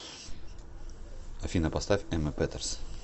афина поставь эмма петерс